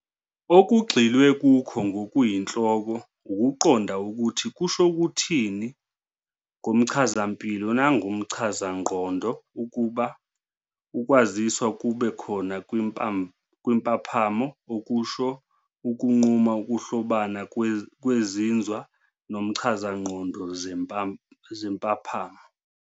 Okugxilwe Kukho ngokuyinhloko ukuqonda ukuthi kusho ukuthini ngomchazampilo nangokomchazangqondo ukuba ukwaziswa kube khona kwimpaphamo -okusho, ukunquma ukuhlobana kwezinzwa nomchazangqondo zempaphamo.